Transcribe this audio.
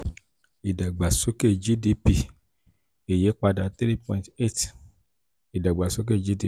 ìdàgbàsókè gdp ìyípadà three point eight ìdàgbàsókè gdp